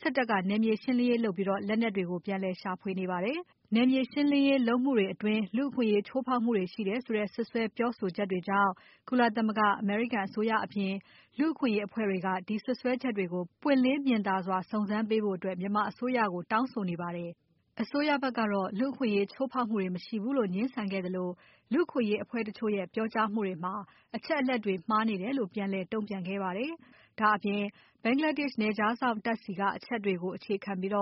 စစ်တပ်က နယ်မြေရှင်းလင်းရေးလုပ်ပြီး လက်နက်တွေကို ပြန်လည်ရှာဖွေနေပါတယ်။ နယ်မြေရှင်းလင်းရေးလုပ်စဉ်မှာ လူ့အခွင့်အရေးချိုးဖောက်မှုတွေရှိတယ်ဆိုတဲ့ စွပ်စွဲပြောဆိုချက်တွေကြောင့် ကုလသမဂ္ဂ၊ အမေရိကန်အစိုးအရအပြင် လူ့အခွင့်အရေးအဖွဲ့တွေက ဒီစွပ်စွဲချက်တွေကို ပွင့်လင်းမြင်သာစွာ စုံစမ်းပေးဖို့ မြန်မာအစိုးရကို တောင်းဆိုနေပါတယ်။ အစိုးရဖက်ကတော့ လူ့အခွင့်အရေးချိုးဖောက်မှုတွေ မရှိဘူးလို့ ငြင်းဆန်ခဲ့သလို လူ့အခွင့်အရေးအဖွဲ့တချို့ရဲ့ပြောကြားမှုတွေမှာ အချက်အလက်တွေမှားနေတယ်လို့ ပြန်လည်တုံ့ပြန်ခဲ့ပါတယ်။ ဒါ့အပြင် ဘင်္ဂလားဒေရှ့်နယ်ခြားစောင့်တပ်ဆီကအချက်တွေကို အခြေခံပြီး